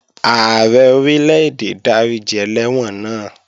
Ààrẹ Orílè-èdè dáríji ẹlẹ́wọ̀n náà